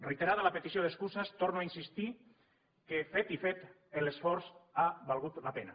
reiterada la petició d’excuses torno a insistir que fet i fet l’esforç ha valgut la pena